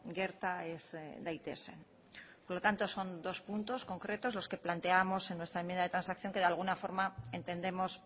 gerta ez daitezen por lo tanto son dos puntos concretos los que planteábamos en nuestra enmienda de transacciones que de alguna forma entendemos